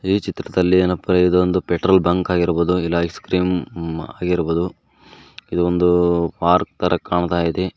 ಈ ಚಿತ್ರದಲ್ಲಿ ಏನಪ್ಪಾ ಇದೊಂದು ಪೆಟ್ರೋಲ್ ಬಂಕ್ ಆಗಿರಬಹುದು ಇಲ್ಲ ಐಸ್ ಕ್ರೀಮ್ ಆಗಿರಬಹುದು ಇದೊಂದು ಪಾರ್ಕ್ ತರ ಕಾಣ್ತಾ ಇದೆ.